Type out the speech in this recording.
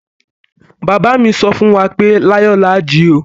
Baba mi sọ fún wa pé láyò láà jí o!